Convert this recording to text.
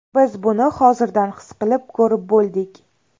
Biz buni hozirdan his qilib, ko‘rib bo‘ldik.